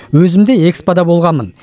өзім де экспо да болғанмын